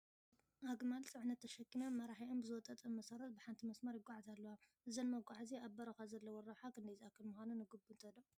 ኣግማል ፅዕነት ተሸኪመን መራሒአን ብዝወጠጠን መሰረት ብሓንቲ መስመር ይጓዓዛ ኣለዋ፡፡ እዘን መጓዓዓዝያ ኣብ በረኻ ዘለወን ረብሓ ክንደይ ዝኣክል ምዃኑ ንግምቶ ዶ?